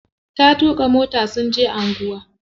Ta tuƙa mota sun je anguwa.